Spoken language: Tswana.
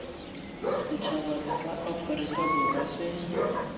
setšhaba sa aforika borwa se